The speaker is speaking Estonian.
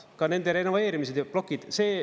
Ka nende renoveerimised ja plokid.